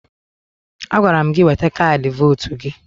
Agwara m gị weta kaadị votu gị!